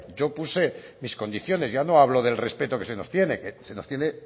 yo puse mis condiciones ya no hablo del respeto que se nos tiene que se nos tiene